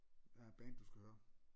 Der er et band du skal høre